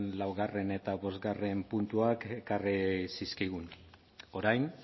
laugarrena eta bostgarrena puntuak ekarri zizkigun orain